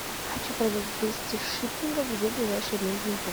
хочу продать двести шиллингов где ближайший обменный пункт